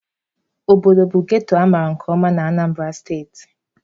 Okpoko bụ ghetto amaara nke ọma na Anambara steeti.